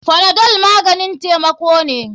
Panadol maganin taimako ne.